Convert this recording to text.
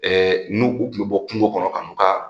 n'u u tun bɛ bɔ kungo kɔnɔ ka n'u ka